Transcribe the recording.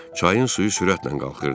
Çayın suyu sürətlə qalxırdı.